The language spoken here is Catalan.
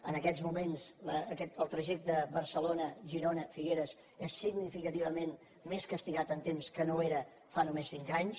en aquests moments el trajecte barcelona girona figueres és significativament més castigat en temps que no ho era fa només cinc anys